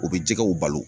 U bɛ jɛgɛw balo